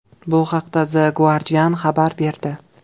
Bu haqda The Guardian xabar berdi .